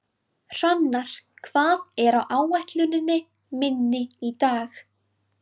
Hrannar, hvað er á áætluninni minni í dag?